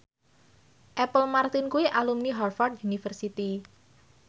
Apple Martin kuwi alumni Harvard university